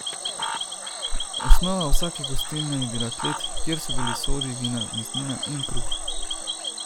Osnova vsake gostilne je bila klet, kjer so bili sodi vina, mesnina in kruh.